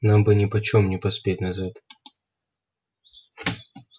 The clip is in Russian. нам бы нипочём не поспеть назад